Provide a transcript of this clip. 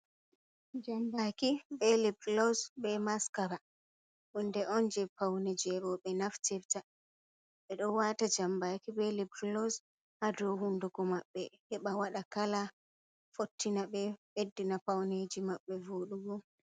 Jambaki, be liblos, be maskara. Hunde on jee paune je roɓe naftirta. Ɓe ɗo waata jambaki, be libros haa dou hunduko maɓɓe, heɓa waɗa kala fottina ɓe, ɓeddina pauneeji maɓɓe voɗugo.